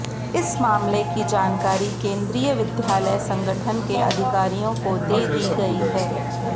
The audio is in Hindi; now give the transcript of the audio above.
इस मामले की जानकारी केंद्रीय विद्यालय संगठन के अधिकारियों को दे दी गई है